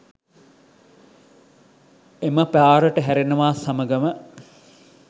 එම පාරට හැරෙනවාත් සමඟම